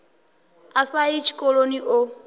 a sa yi tshikoloni o